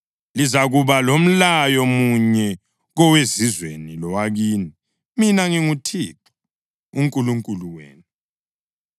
Lizakuba lomlayo munye kowezizweni lowakini. Mina nginguThixo uNkulunkulu wenu.’ ”